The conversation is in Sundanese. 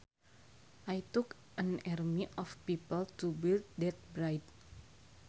It took an army of people to build that bridge